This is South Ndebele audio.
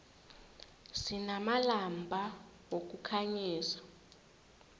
sinamalampa wokukhanyisa